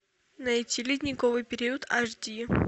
найти ледниковый период аш ди